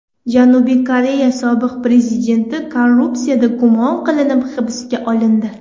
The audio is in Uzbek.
Janubiy Koreya sobiq prezidenti korrupsiyada gumon qilinib hibsga olindi.